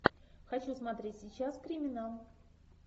хочу смотреть сейчас криминал